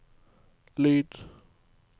lyd